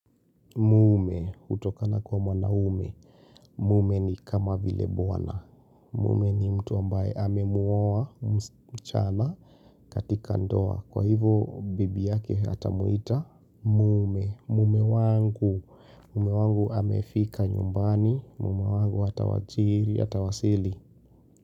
Mume hutokana kwa mwanaume. Mume ni kama vile bwana. Mume ni mtu ambaye amemuoa msichana katika ndoa. Kwa hivo bibi yake atamwita. Mume. Mume wangu. Mume wangu amefika nyumbani. Mume wangu atawajiri atawasili.